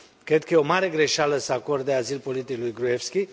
Cred că este o mare greșeală să acorde azil politic lui Gruevski.